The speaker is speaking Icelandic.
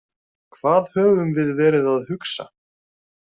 Hvað höfum við verið að hugsa?